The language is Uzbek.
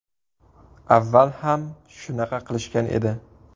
Avval ham shunaqa qilishgan edi.